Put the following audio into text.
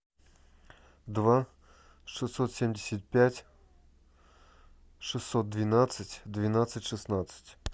два шестьсот семьдесят пять шестьсот двенадцать двенадцать шестнадцать